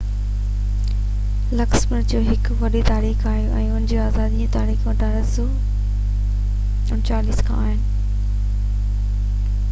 Luxembourg جي هڪ وڏي تاريخ آهي پر ان جي آزادي جون تاريخون 1839 کان آهن